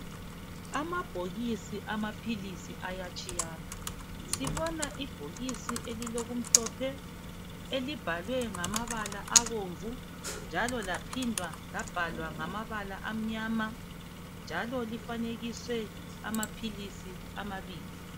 Amabhokisi amaphilisi ayatshiyana. Sibona ibhokisi elilokumhlophe elibhalwe ngamabala abomvu njalo laphinda labhalwa ngamabala amnyama njalo lifanekiswe amaphilisi amabili.